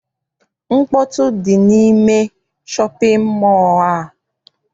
Mkpọtụ dị n'ime shọpịn mọọ a.